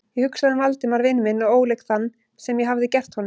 Ég hugsaði um Valdimar vin minn og óleik þann, sem ég hafði gert honum.